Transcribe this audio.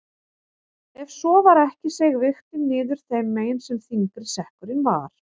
Ef svo var ekki seig vigtin niður þeim megin sem þyngri sekkurinn var.